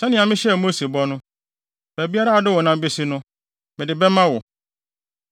Sɛnea mehyɛɛ Mose bɔ no, baabiara a wode wo nan besi no, mede bɛma wo.